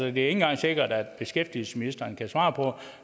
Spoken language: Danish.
ikke engang sikkert at beskæftigelsesministeren kan svare på